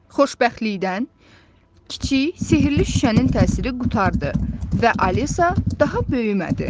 Xoşbəxtlikdən, kiçik sehirli şüşənin təsiri qurtardı və Alisa daha böyümədi.